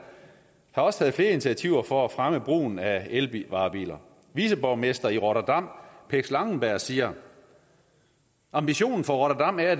har også taget flere initiativer for at fremme brugen af elvarebiler viceborgmester i rotterdam pex langenberg siger at ambitionen for rotterdam er at